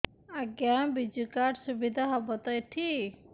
ଆଜ୍ଞା ବିଜୁ କାର୍ଡ ସୁବିଧା ହବ ତ ଏଠି